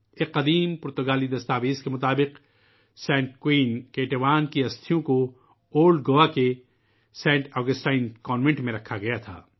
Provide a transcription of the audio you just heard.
قدیم پرتگالی دستاویز کے مطابق، سینٹ کوئین کیٹیون کے باقیات کو پرانے گوا کے سینٹ آگسٹین کانوینٹ میں رکھا گیا تھا